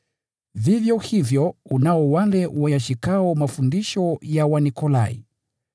Vivyo hivyo unao wale wayashikayo mafundisho ya Wanikolai.